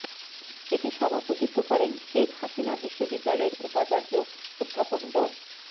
এতে সভাপতিত্ব করেন শেখ হাসিনা বিশ্ববিদ্যালয়ের উপাচার্য অধ্যাপক ড